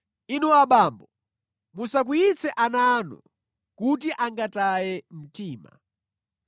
Inu abambo, musakwiyitse ana anu, kuti angataye mtima.